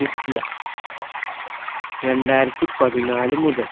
ലിസിയ രണ്ടായിരത്തി പതിനാല് മുതൽ